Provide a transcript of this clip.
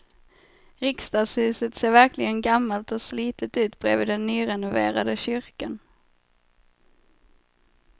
Riksdagshuset ser verkligen gammalt och slitet ut bredvid den nyrenoverade kyrkan.